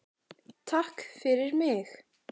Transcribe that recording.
TAKK FYRIR MIG.